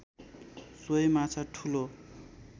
सोही माछा ठूलो